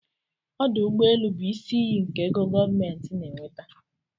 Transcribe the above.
Ọdụ ụgbọelụ bụ isi iyi nke ego gọọmentị na-enweta.